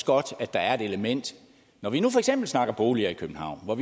godt at der er et element når vi nu for eksempel snakker om boliger i københavn og